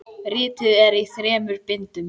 Ritið er í þremur bindum.